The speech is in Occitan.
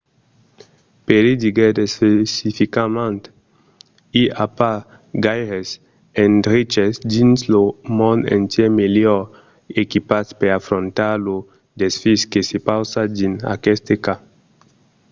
perry diguèt especificament i a pas gaires endreches dins lo mond entièr melhor equipats per afrontar lo desfís que se pausa dins aqueste cas.